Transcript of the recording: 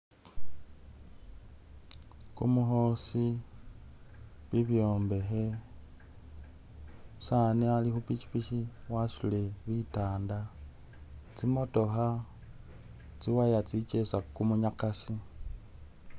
Kumukhosi, bibyombekhe , umusani ali khu pikipiki wasutile bitanda tsi motokha tsi wire tsi kesa kumunyakasi.